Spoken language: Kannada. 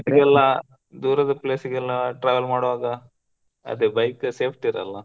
ದೂರದ place ಗೆ ಎಲ್ಲಾ travel ಮಾಡುವಾಗ ಅದೆ bike safety ಇರಲ್ಲಾ.